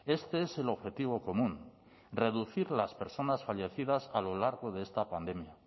este es el objetivo común reducir las personas fallecidas a lo largo de esta pandemia